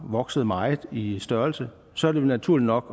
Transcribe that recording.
vokset meget i størrelse så er det jo naturligt nok